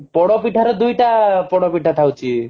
ପୋଡପିଠାରେ ଦୁଇଟା ପୋଡପିଠା ଥାଉଛି